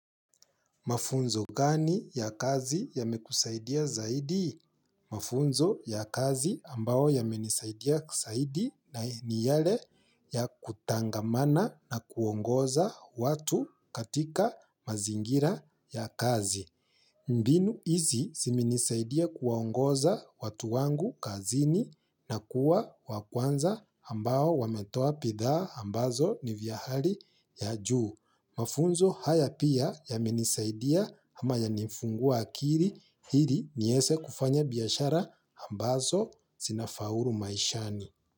Mafunzo gani ya kazi yamekusaidia zaidi? Mafunzo ya kazi ambao yamenisaidia zaidi ni yale ya kutangamana na kuongoza watu katika mazingira ya kazi. Mbinu hizi ziminisaidia kuongoza watu wangu kazini na kuwa wa kwanza ambao wametoa bidhaa ambazo ni vya hali ya juu. Mafunzo haya pia yamenisaidia ama yanifungua akili hili nieze kufanya biashara ambazo zinafaulu maishani.